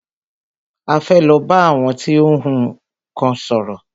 A fẹ́ lọ bá àwọn tí ó ń kun nnkan sòrò.